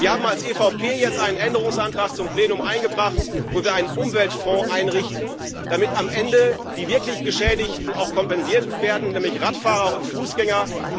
Wir haben als EVP jetzt einen Änderungsantrag zum Plenum eingebracht, wo wir einen Umweltfonds einrichten, damit am Ende die wirklich Geschädigten auch kompensiert werden, nämlich Radfahrer und Fußgänger.